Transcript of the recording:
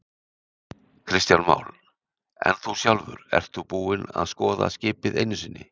Kristján Már: En þú sjálfur, þú ert ekki búinn að skoða skipið einu sinni?